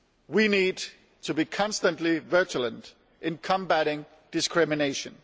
We need to be constantly vigilant in combating discrimination.